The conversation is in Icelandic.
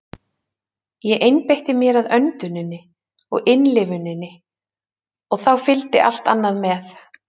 Ég einbeitti mér að önduninni og innlifuninni og þá fylgdi allt annað með.